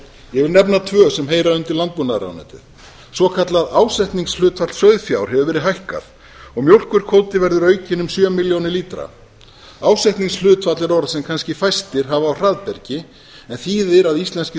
ég vil nefna tvö sem heyra undir landbúnaðarráðuneytið svokallað ásetningshlutfall sauðfjár hefur verið hækkað og mjólkurkvóti verður aukinn um sjö milljónir lítra ásetningshlutfall er orð sem kannski fæstir hafa á hraðbergi en þýðir að íslenskir